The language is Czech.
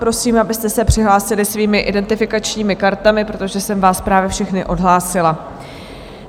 Prosím, abyste se přihlásili svými identifikačními kartami, protože jsem vás právě všechny odhlásila.